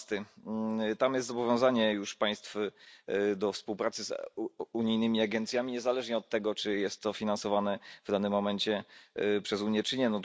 12. Tam jest zobowiązanie już państw do współpracy z unijnymi agencjami, niezależnie od tego, czy jest to finansowane w danym momencie przez Unię, czy nie.